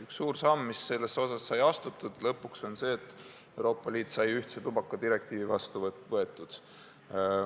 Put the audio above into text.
Üks suur samm, mis selles valdkonnas sai lõpuks astutud, on see, et Euroopa Liit sai ühtse tubakadirektiivi vastu võetud.